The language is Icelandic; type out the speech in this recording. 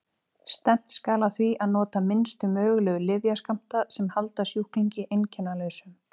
Stefnt skal að því að nota minnstu mögulegu lyfjaskammta sem halda sjúklingi einkennalausum.